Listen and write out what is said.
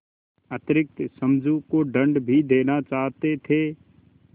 अतिरिक्त समझू को दंड भी देना चाहते थे